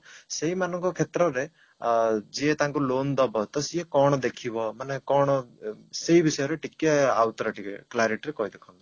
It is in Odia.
ସେଇ ମାନଙ୍କ କ୍ଷେତ୍ରରେ ଆ ଯିଏ ତାଙ୍କୁ loan ଦବ ତ ସିଏ କଣ ଦେଖିବ ମାନେ କଣ ଅ ସେଇ ବିଷୟରେ ଟିକେ ଆଉଥରେ ଟିକେ clarity ରେ କହିଦେଖନ୍ତୁ